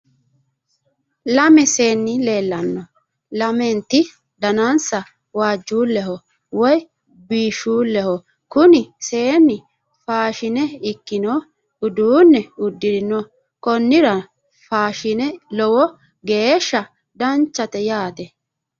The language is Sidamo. Lame seenni leellanno lamenti danansa waajjuulleho woyi biishshuulleho kuni seenni faashine ikkino uduunne uddirino konnira faashine lowo geeshsha danchate yaate